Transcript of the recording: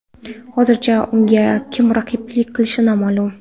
Hozircha unga kim raqiblik qilishi noma’lum.